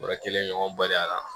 Yɔrɔ kelen ɲɔgɔn badenya la